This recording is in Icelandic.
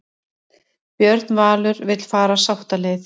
Björn Valur vill fara sáttaleið